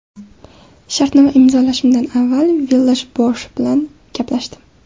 Shartnoma imzolashimdan avval Villash-Boash bilan gaplashdim.